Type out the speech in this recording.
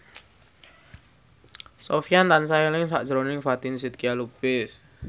Sofyan tansah eling sakjroning Fatin Shidqia Lubis